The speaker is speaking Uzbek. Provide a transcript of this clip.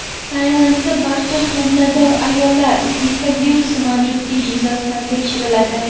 Tailandda barcha homilador ayollar Zika virusi mavjudligi yuzasidan tekshiriladi.